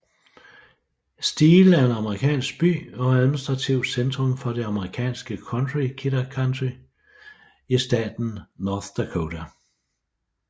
Steele er en amerikansk by og administrativt centrum for det amerikanske county Kidder County i staten North Dakota